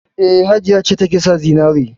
E, Hajiya ce take sa zinare.